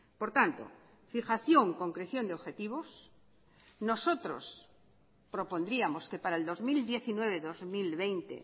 por tanto fijación concreción de objetivos nosotros propondríamos que para el dos mil diecinueve dos mil veinte